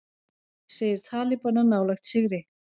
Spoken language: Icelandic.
Segir talibana nálægt sigri